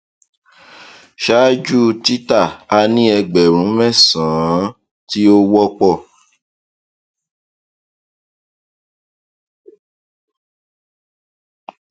ṣáájú tita a ní ẹgbẹrún mẹsànán ti ó wọpọ